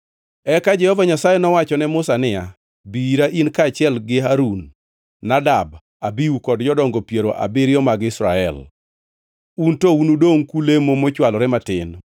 Eka Jehova Nyasaye nowacho ne Musa niya, “Bi ira, in kaachiel gi Harun, Nadab, Abihu kod jodongo piero abiriyo mag Israel. Un to unudongʼ kulemo mochwalore matin,